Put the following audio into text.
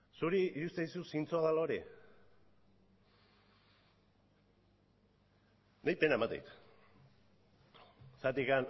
zuri iruditzen zaizu zintzoa dela hori niri pena ematen dit